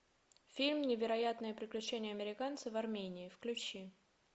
фильм невероятные приключения американца в армении включи